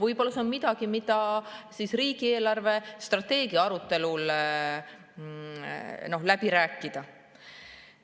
Võib-olla see on midagi, mida võiks riigi eelarvestrateegia arutelul läbi rääkida.